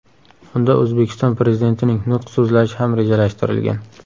Unda O‘zbekiston Prezidentining nutq so‘zlashi ham rejalashtirilgan.